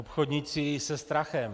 Obchodníci se strachem.